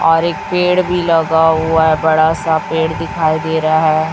और एक पेड़ भी लगा हुआ है बड़ा सा पेड़ दिखाई दे रहा है।